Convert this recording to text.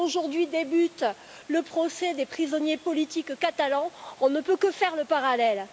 Aujourd'hui débute le procès des prisonniers politiques catalans, on ne peut que faire le parallèle.